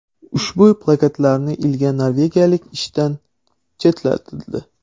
Ushbu plakatlarni ilgan norvegiyalik ishdan chetlatildi.